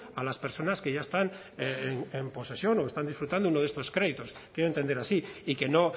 a las personas que ya están en posesión o están disfrutando de uno de estos créditos quiero entender así y que no